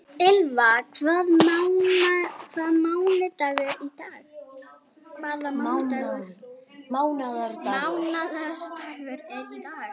Ylva, hvaða mánaðardagur er í dag?